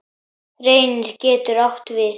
Reynir getur átt við